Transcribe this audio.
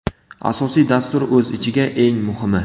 Asosiy dastur o‘z ichiga: Eng muhimi!